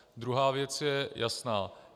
Druhá věc je jasná.